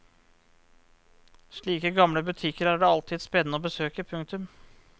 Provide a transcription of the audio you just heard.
Slike gamle butikker er det alltid spennende å besøke. punktum